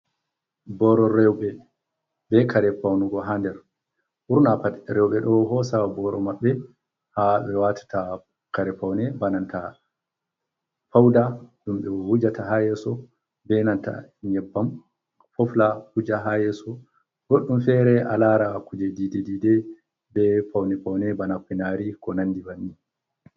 Boro reube be kare paunugo hader, burna rewbe do hosaya boro mabbe ha be watata kare paune banata fauda dumbe wujata hayeso benata yebbam fofla kuja hayeso goddum fere a lara kuje dddide be paune paune bana finari ko nandi banni.